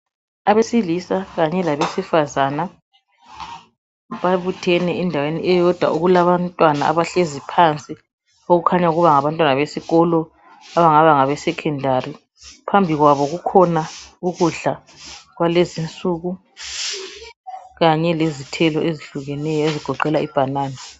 Abesilisa kanye labesifazana babuthene endaweni eyodwa kulabantwana abahlezi phansi. Okukhanya kungaba ngabantwana wesikolo abangaba ngabe 'secondary '. Phambi kwabo kukhona ukudla kwalezi insuku, kanye lezithelo ezihlukeneyo ezigoqela ibhanana.